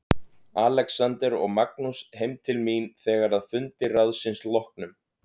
Alexander og Magnús heim til mín þegar að fundi ráðsins loknum.